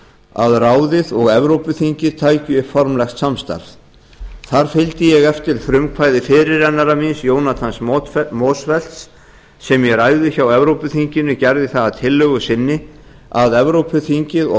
að ráðið og evrópuþingið taki upp formlegt samstarf þar fylgdi ég eftir frumkvæði fyrirrennara míns jonathans motzfeldt sem í ræðu hjá evrópuþinginu gerði það að tillögu sinni að evrópuþingið og